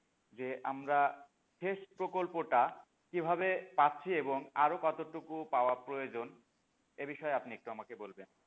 যে আমরা যে সেচ প্রকল্পটা কিভাবে পাচ্ছি এবং আরো কতটুকু পাওয়া প্রয়োজন এ বিষয়ে আপনি আমাকে একটু বলবেন,